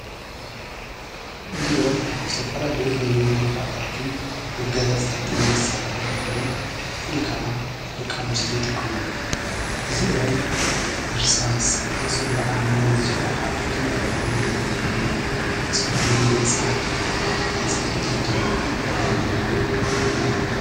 እዚኦም ዝተፋልለዩ ናይ መመላኸታትን መጋያፅታትን መሣርሑ ኾይኖም ፍሊ ከዓ ደቃንስቲ ይጥቆም ኣሉ እዚኦም ኢርሳስ ኣብ ፀጕሩዓኒ ዝኰሓል ከም ጕዕሉ ኾይኑ ዘገልብልን ንጸጕሪ መጻሃቕን ናይ ጽፍሪ ኢድን ዘለዉዎም እዮም።